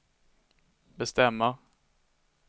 bestämmer